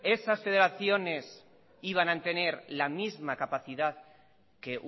esas federaciones iban a tener la misma capacidad que